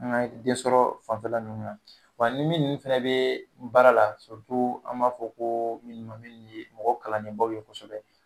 An ka den sɔrɔ fanfɛla ninnu na, wa ni minnu fɛnɛ bɛ baara la an b'a fɔ ko minnu ma minnu ye mɔgɔ kalannenbaw ye kosɛbɛ